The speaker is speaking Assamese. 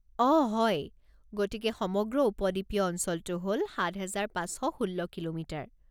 আঃ হয়! গতিকে সমগ্ৰ উপদ্বীপীয় অঞ্চলটো হ'ল ৭,৫১৬ কিলোমিটাৰ।